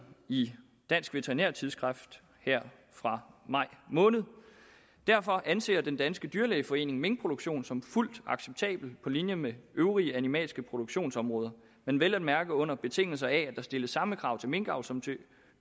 i dansk veterinærttidsskrift her fra maj måned derfor anser den danske dyrlægeforening minkproduktion som fuldt acceptabelt på linje med øvrige animalske produktionsområder men vel at mærke under betingelse af at der stilles samme krav til minkavl som til